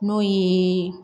N'o ye